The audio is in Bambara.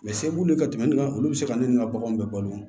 Mɛ se b'u ye ka tɛmɛ ne kan olu bɛ se ka ne ni n ka baganw bɛ balo